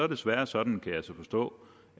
desværre sådan kan jeg så forstå